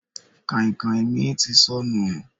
Kàìnkàìn mi ti sọnù.